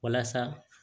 Walasa